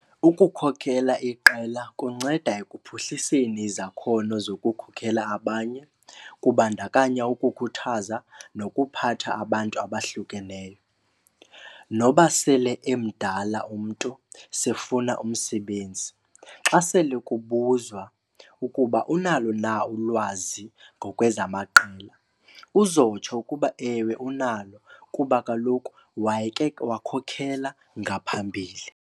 Ukukhokhela iqela kunceda ekuphuhliseni izakhono zokukhokhela abanye kubandakanya ukukhuthaza nokuphatha abantu abahlukeneyo. Noba sele emdala umntu sefuna umsebenzi, xa sele kubuzwa ukuba unalo na ulwazi ngokwezamaqela uzowutsho ukuba ewe unalo kuba kaloku wayeke wakhokhela ngaphambili.